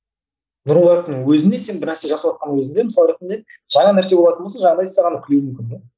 нұр мүбарактың өзінде сен бір нәрсе жасаватқанның өзінде мысалы ретінде жаңа нәрсе болатын болса жаңағындай саған күлуі мүмкін де